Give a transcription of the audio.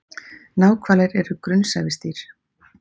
Náhvalir er grunnsævisdýr.